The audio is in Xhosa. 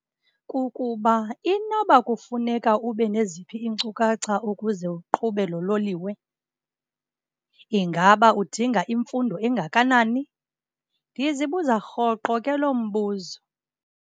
Kukuba inoba kufuneka ube neziphi iinkcukacha ukuze uqhube lo loliwe? Ingaba udinga imfundo engakanani? Ndizibuza rhoqo ke loo mbuzo.